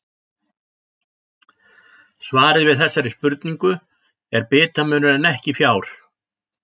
Svarið við þessari spurningu er bitamunur en ekki fjár.